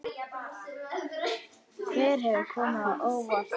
Hver hefur komið á óvart?